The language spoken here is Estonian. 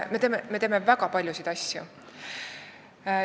Me teeme väga paljusid asju.